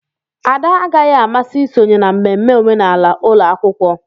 Ada agaghị amasị isonye na mmemme omenala ụlọ akwụkwọ.